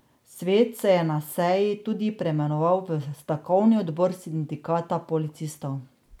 Svet se je na seji tudi preimenoval v Stavkovni odbor sindikata policistov.